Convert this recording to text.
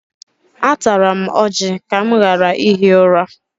Atara m ọjị ka m ghara ihi ụra.